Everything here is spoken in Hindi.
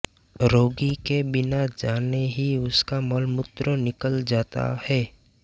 रोगी के बिना जाने ही उसका मलमूत्र निकल जाता है